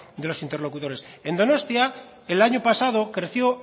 de los interlocutores en donostia el año pasado creció